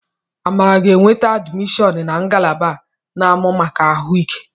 Amara ga-enweta admishọn na ngalaba a na-amụ maka ahu ike